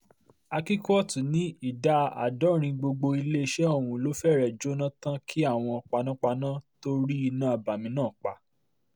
akíkúòtù ní ìdá àádọ́rin gbogbo iléeṣẹ́ ọ̀hún ló fẹ́rẹ̀ẹ́ jóná tán kí àwọn panápaná tóó rí iná abàmì náà pa